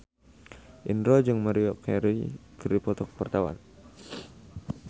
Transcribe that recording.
Indro jeung Maria Carey keur dipoto ku wartawan